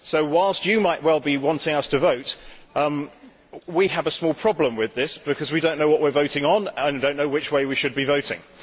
Whilst you might well be wanting us to vote, we have a small problem with this, because we do not know what we are voting on and we do not know which way we should be voting.